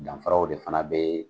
Danfaraw de fɛnɛ be